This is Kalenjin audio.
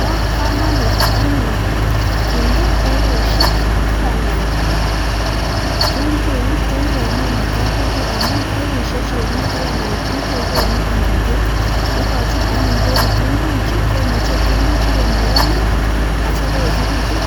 Ba kamanut anyun kinde baibushek tabandab kitunguik chekikemin en kabingui amun baibushek chekakinde taban en kitunguik ikachin anyin bek kitunguik Chu komayamia akoyechekitun